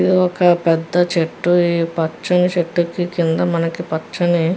ఇది ఒక పేద చేటు ఈ పచ్చని చేటు కి కింద మనకి పచ్చని --